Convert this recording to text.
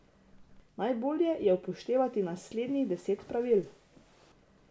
Najbolje je upoštevati naslednjih deset pravil.